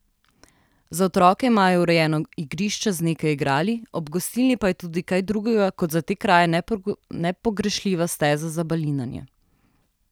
Za otroke imajo urejeno igrišče z nekaj igrali, ob gostilni pa je tudi kaj drugega kot za te kraje nepogrešljiva steza za balinanje.